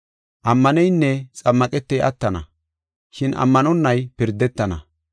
Ammaneynne xammaqetey attana, shin ammanonay pirdetana.